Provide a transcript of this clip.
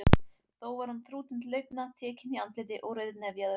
Þó var hann þrútinn til augna, tekinn í andliti og rauðnefjaður.